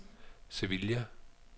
Sevilla